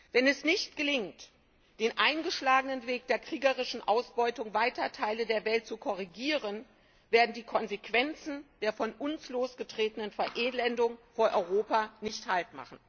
Wenn es nicht gelingt, den eingeschlagenen Weg der kriegerischen Ausbeutung weiter Teile der Welt zu korrigieren, werden die Konsequenzen der von uns losgetretenen Verelendung vor Europa nicht Halt